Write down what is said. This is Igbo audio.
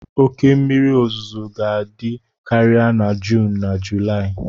Oke mmiri ozuzo ga-ada karịa na Juun na Julaị.